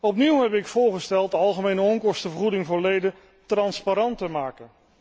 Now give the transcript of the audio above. Opnieuw heb ik voorgesteld de algemene onkostenvergoeding voor leden transparant te maken.